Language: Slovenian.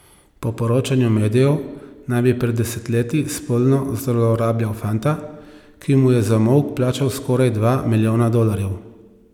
Po poročanju medijev naj bi pred desetletji spolno zlorabljal fanta, ki mu je za molk plačal skoraj dva milijona dolarjev.